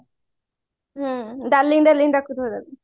ହୁଁ darling darling ଡାକୁଥିବ ତାକୁ